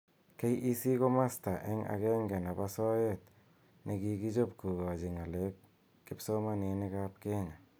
KEC ko masta eng agenge nebo soet nekikichob kokachi ng'alek kipsomaninik ab Kenya